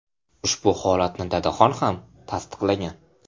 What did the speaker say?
Ushbu holatni Dadaxon X. ham tasdiqlagan.